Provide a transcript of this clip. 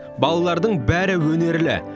балалардың бәрі өнерлі